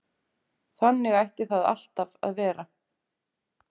Þannig ætti það alltaf að vera